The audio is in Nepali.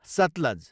सतलज